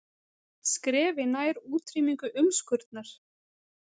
Skrefi nær útrýmingu umskurnar